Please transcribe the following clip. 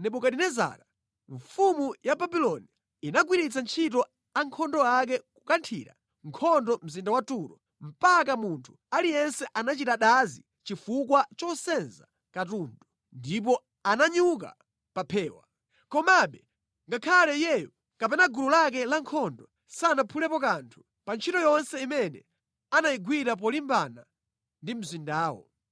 Nebukadinezara mfumu ya Babuloni inagwiritsa ntchito ankhondo ake kukathira nkhondo mzinda wa Turo, mpaka munthu aliyense anachita dazi chifukwa chosenza katundu, ndipo ananyuka pa phewa. Komabe ngakhale iyeyo, kapena gulu lake lankhondo sanaphulepo kanthu pa ntchito yonse imene anayigwira polimbana ndi mzindawo.